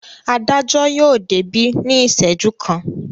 Adájọ́ yóò débí ní ìṣẹ́jú kan.